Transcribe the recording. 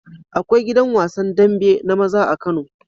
Akwai gidan wasan dambe na maza a kano